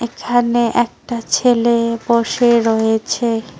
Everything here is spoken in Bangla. এখানে একটা ছেলে বসে রয়েছে।